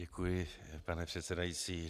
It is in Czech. Děkuji, pane předsedající.